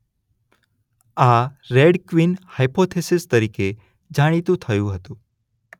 આ Red Queen hypothesis તરીકે જાણીતું થયું હતું.